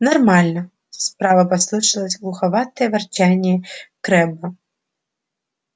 нормально справа послышалось глуховатое ворчание крэбба